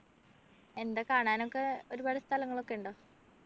എന്താ കാണാനൊക്കെ ഒരുപാട് സ്ഥലങ്ങളൊക്കെ ഉണ്ടോ